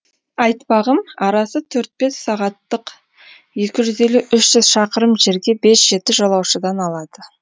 айтпағым арасы төрт бес сағаттық екі жүз елу үш жүз шақырым жерге бес жеті жолаушыдан алады